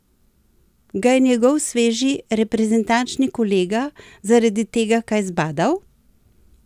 Ga je njegov sveži reprezentančni kolega zaradi tega kaj zbadal?